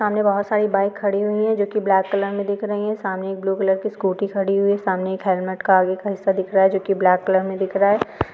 सामने बोहोत सारी बाइक खड़ी हुई है | जोक ब्लैक कलर मे दिख रही है सामने एक ब्लू कलर की स्कूटी खड़ी हुई है सामने एक हेलमेट के आगे का हिस्सा दिख रहा है जोक ब्लैक कलर मे दिख रहा है।